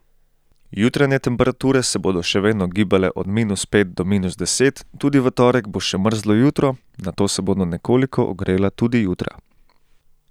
Jutranje temperature se bodo še vedno gibale od minus pet do minus deset, tudi v torek bo še mrzlo jutro, nato se bodo nekoliko ogrela tudi jutra.